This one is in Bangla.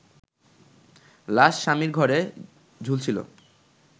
লাশ স্বামীর ঘরে ঝুলছিলো